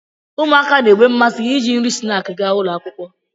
ụmụaka na-enwe mmasị iji nri snaakị ga akwụkwọ